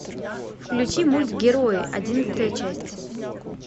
включи мульт герои одиннадцатая часть